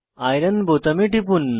iron বোতামে টিপুন